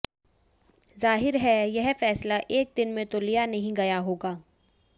जाहीर है यह फैसला एक दिन मे तो लिया नहीं गया होगा